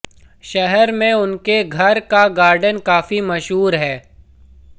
शहर में उनके घर का गार्डन काफी मशहूर है